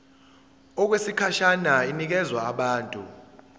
okwesikhashana inikezwa abantu